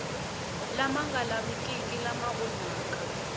lama nga lavikiki lama onhaka